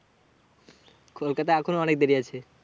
কলকাতা এখন অনেক দেরি আছে।